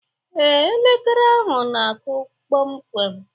Ee, elekere ahụ na-akụ kpọm kwem